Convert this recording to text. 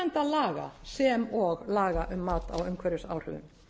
náttúruverndarlaga sem og laga um mat á umhverfisáhrifum